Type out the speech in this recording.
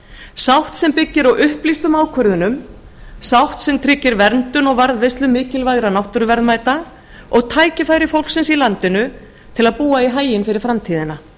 sátt sem byggir á upplýstum ákvörðunum sátt sem tryggir verndun og varðveislu mikilvægra náttúruverðmæta og tækifæri fólksins í landinu til að búa í haginn fyrir framtíðina